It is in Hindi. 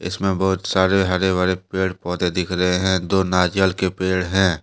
इसमें बहुत सारे हरे भरे पेड़ पौधे दिख रहे हैं दो नारियल के पेड़ हैं।